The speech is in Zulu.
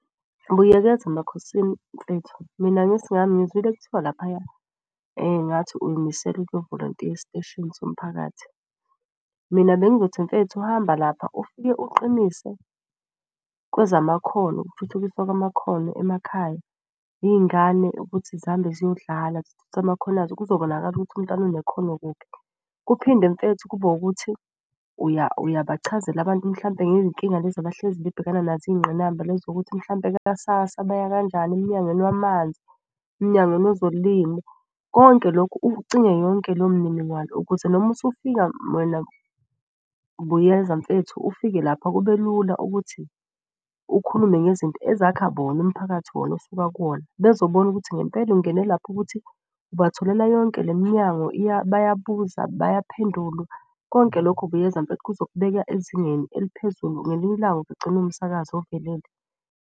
Buyekeza Makhosini mfethu mina ngesingami ngizwile kuthiwa laphaya ngathi uyimisele ukuyo volontiya esiteshini somphakathi. Mina bengithi mfethu hamba lapha, ufike uqinise kwezamakhono, ukuthuthukiswa kwamakhono emakhaya. Iy'ngane ukuthi zihambe ziyodlala zithuthukise amakhono azo kuzobonakala ukuthi umntwana unekhono kuphi. Kuphinde mfethu kube wukuthi uyabachazela abantu mhlampe ngezinkinga lezi abahlezi bebhekana nazo. Iy'ngqinamba lezo ukuthi mhlampe ka-SASSA baya kanjani, emnyangweni wamanzi, emnyangweni wezolimo. Konke lokhu ucinge yonke leyo mniningwano ukuze noma usufika wena Buyeza mfethu ufike lapha kube lula ukuthi ukhulume ngezinto ezakha bona. Umphakathi wona osuka kuwona bezobona ukuthi ngempela ungene lapha ukuthi ubatholela yonke le minyango . Bayabuza bayaphendulwa konke lokho Buyeza kuzokubeka ezingeni eliphezulu ngelinye ilanga ugcine umsakazi ovelele.